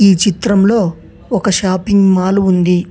ఈ చిత్రంలో ఒక షాపింగ్ మాల్ ఉంది.